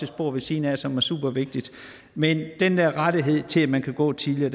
spor ved siden af som er supervigtigt men den rettighed til at man kan gå tidligere